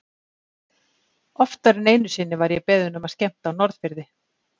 Oftar en einu sinni var ég beðinn um að skemmta á Norðfirði.